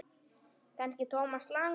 Kannski Thomas Lang.?